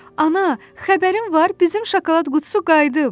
Ana, xəbərin var, bizim şokolad qutusu qayıdıb!